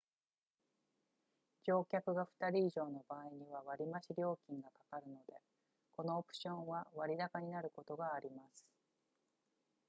乗客が2人以上の場合には割増料金がかかるのでこのオプションは割高になることがあります